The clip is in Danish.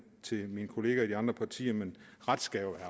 til mine kollegaer i de andre partier men ret skal jo